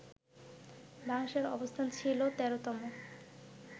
বাংলাদেশের অবস্থান ছিল ১৩তম